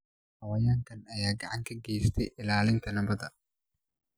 Xayawaankan ayaa gacan ka geysta ilaalinta nabadda.